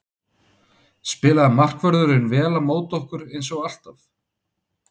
Spilaði markvörðurinn vel á móti okkur eins og alltaf?